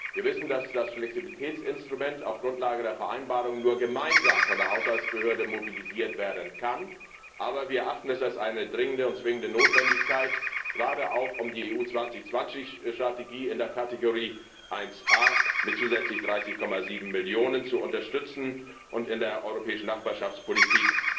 Wir wissen, dass das Flexibilitätsinstrument auf der Grundlage der Vereinbarung nur gemeinsam von der Haushaltsbehörde mobilisiert werden kann, aber wir erachten es als eine dringende und zwingende Notwendigkeit, gerade um die EU 2020 Strategie in der Rubrik 1a mit zusätzlich 30,7 Millionen zu unterstützen und in der europäischen Nachbarschaftspolitik